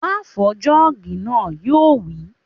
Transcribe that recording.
Má fọ jọ́ọ̀gì náà! Yóò wí